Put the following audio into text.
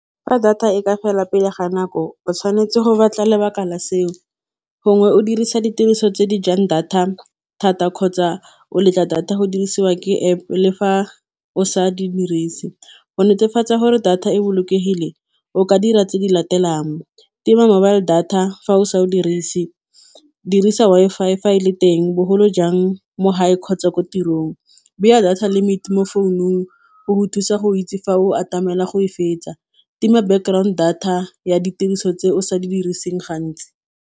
Fa data e ka fela pele ga nako o tshwanetse go batla lebaka la seo gongwe o dirisa ditiriso tse di jang data thata kgotsa o letla data go dirisiwa ke App le fa o sa di dirise go netefatsa gore data e bolokegileng o ka dira tse di latelang tima mobile data fa o sa o dirise dirisa Wi-Fi fa e le teng bogolo jang mo gae kgotsa ko tirong, beya data limit mo founung go go thusa go itse fa o atamela go e fetsa, tima background data ya ditiriso tse o sa di diriseng gantsi.